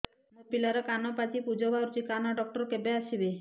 ମୋ ପିଲାର କାନ ପାଚି ପୂଜ ବାହାରୁଚି କାନ ଡକ୍ଟର କେବେ ଆସିବେ